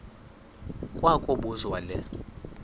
kwa kobuzwa le